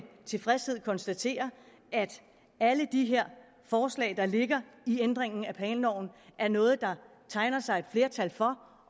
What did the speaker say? tilfredshed konstaterer at alle de her forslag der ligger i ændringen af planloven er noget der tegner sig et flertal for